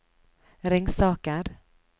Ringsaker